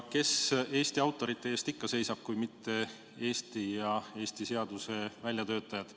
Kes Eesti autorite eest ikka seisab, kui mitte Eesti seaduse väljatöötajad.